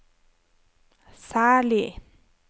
særlig